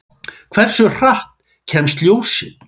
Hversu hratt kemst ljósið?